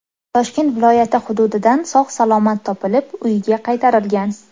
Toshkent viloyati hududidan sog‘-salomat topilib, uyiga qaytarilgan.